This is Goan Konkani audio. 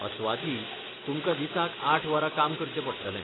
अस्वाथी, तुमकां दिसाक आठ वरां काम करचें पडटलें.